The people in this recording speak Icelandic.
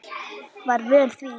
Var vön því.